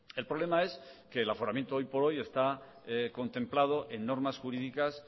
el problema es que el aforamiento hoy por hoy está contemplado en normas jurídicas